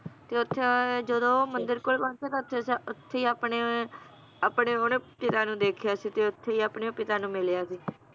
ਤੇ ਓਥੇ ਜਦੋਂ ਮੰਦਿਰ ਕੋਲ ਪਹੁੰਚੇ ਤਾਂ ਓਥੇ~ ਸ~ ਓਥੇ ਈ ਆਪਣੇ, ਆਪਣੇ ਉਹਨੇਂ ਪਿਤਾ ਨੂੰ ਦੇਖਿਆ ਸੀ, ਤੇ ਓਥੇ ਈ ਆਪਣੇ ਪਿਤਾ ਨੂੰ ਮਿਲਿਆ ਸੀ